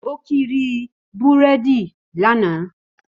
Ó kiri búrèdì lánàá